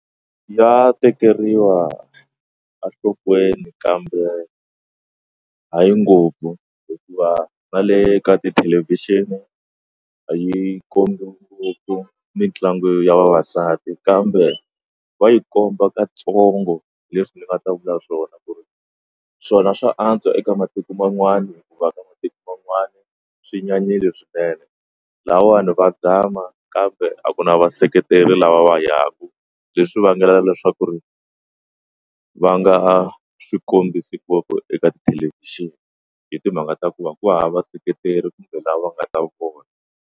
Ya tekeriwa enhlokweni kambe hayi ngopfu hikuva na le ka tithelevhixini a yi kombiwa ngopfu mitlangu ya vavasati kambe va yi komba katsongo leswi ni nga ta vula swona ku ri swona swa antswa eka matiko man'wana hikuva ka matiko man'wana swi nyanyile swinene lahawani va zama kambe a ku na vaseketeri lava va yaku leswi vangelaka leswaku ri va nga swikombiso ngopfu eka tithelevhixini hi timhaka ta ku va ku hava vaseketeri kumbe lava nga ta vona.